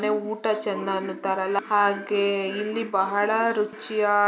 ಮನೆ ಊಟ ಚೆಂದ ಅನ್ನುತ್ತಾರಲ್ಲ ಹಾಗೆ ಇಲ್ಲಿ ಬಹಳ ರುಚಿಯಾ--